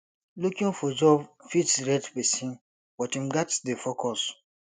looking for job fit stress pesin but im gats dey focused